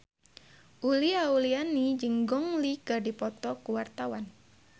Uli Auliani jeung Gong Li keur dipoto ku wartawan